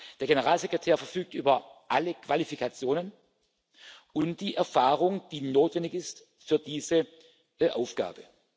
ihm. Der Generalsekretär verfügt über alle Qualifikationen und die Erfahrung, die notwendig ist für diese Aufgabe.